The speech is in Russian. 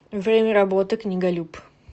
время работы книголюб